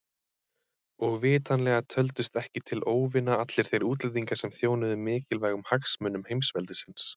Og vitanlega töldust ekki til óvina allir þeir útlendingar sem þjónuðu mikilvægum hagsmunum heimsveldisins.